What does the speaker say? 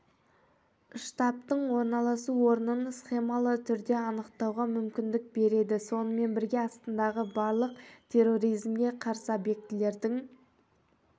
штабтың орналасу орнын схемалы түрде анықтауға мүмкіндік береді сонымен бірге астанадағы барлық терроризмге қарсы объектілердің